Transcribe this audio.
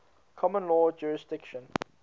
common law jurisdiction